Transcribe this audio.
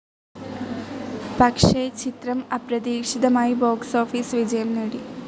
പക്ഷെ ചിത്രം അപ്രതീക്ഷിതമായി ബോക്സ്‌ ഓഫീസ്‌ വിജയം നേടി.